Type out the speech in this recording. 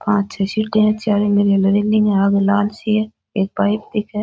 पांच छः सीटे है चार आगे लाल सी है एक बाइक एक है।